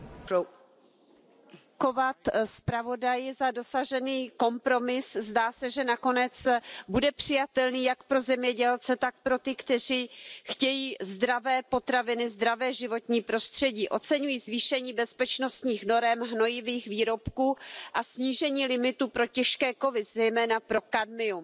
Paní předsedající, chtěla bych poděkovat zpravodaji za dosažený kompromis. Zdá se, že nakonec bude přijatelný jak pro zemědělce, tak pro ty, kteří chtějí zdravé potraviny, zdravé životní prostředí. Oceňuji zvýšení bezpečnostních norem hnojivých výrobků a snížení limitů pro těžké kovy, zejména pro kadmium.